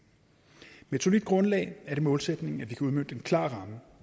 med et solidt grundlag er det målsætningen at vi kan udmønte en klar ramme